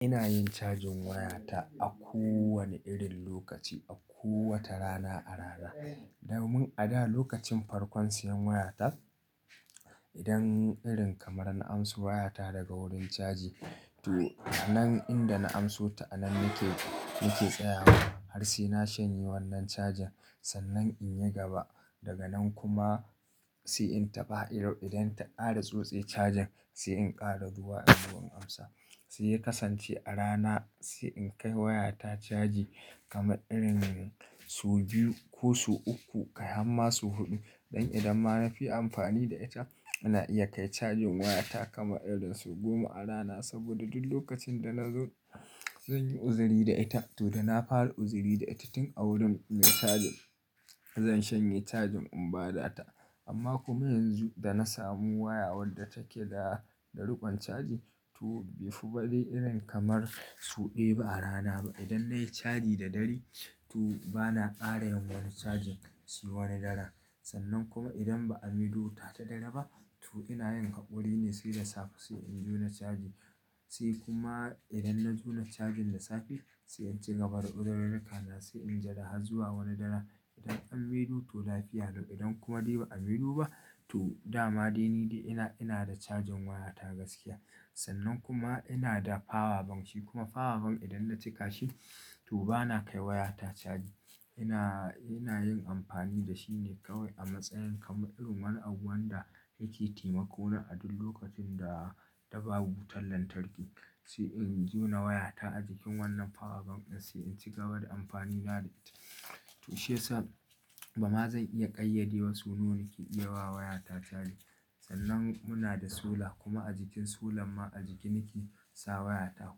Ina yin cajin wayata a ko wanna irin lokaci, a ko wata rana a rana. Domin a da lokacin farkon siyan wayata, idan irin kamar na amso wayata daga wurin caji, to anan inda na amso ta anan nake, nake tsayawa. Har sai na shanye wannan cajin sannan in yi gaba daga nan kuma sai in taɓa ido idan ta kara tsutse cajin sai in kara zuwa in zo in amsa. Sai ya kasance a rana sai in kai wayata caji kamar irin so biyu ko so uku, kai har ma su huɗu. Don idan ma na fi amfani da ita, ina iya kai cajin wayata kamar irin su goma a rana. Saboda duk lokacin da na zo, zan yi uzuri da ita. To da na fara uzuri da ita tun a wurin mai cajin, zan shanye cajin in ba data. Amma kuma yanzu da na samu waya wadda take da, da riƙon caji, to bai fi bare irin kamar su ɗaya ba a rana ba. Idan nayi caji da dare, to bana ƙara yawan cajin shi wani daren. Sannan kuma idan ba a mai do wuta ta dare ba, to ina yin hakuri ne sai da safe sai in jona caji. Sai kuma idan na jona cajin da safe, sai in ci gaba da izururruka na sai in jida har zuwa wani daren. Idan an mai do to lafiya lau, idan kuma dai ba a mai do ba, to dama dai ni dai ina, ina da cajin wayata gaskiya. Sannan kuma ina da power bank shi kuma power bank idan na cika shi, to bana kai wayata caji. Ina, ina yin amfani da shi ne kawai a matsayin kamar irin wani abu wanda yake taimako na a duk lokacin da ta babu wutar lantarki. Sai in jona wayata a jikin wannan power bank ɗin sai in ci gaba da amfani na da ita. To shi ya sa, ba ma zan iya ƙayyade wa so nawa nake iya wa wayata caji. Sannan muna da solar kuma a jikin solan ma a jiki nake sa wayata.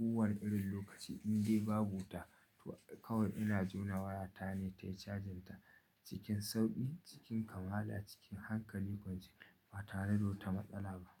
Kowana irin lokaci in dai babu wuta, to kawai ina jona wayata ne tayi cajin ta. Cikin sauƙi, cikin kamala, cikin hankali kwance ba tare da wata matsala ba.